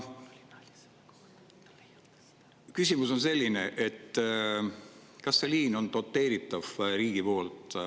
Küsimus on selline: kas see liin on doteeritav riigi poolt?